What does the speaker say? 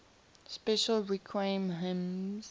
special requiem hymns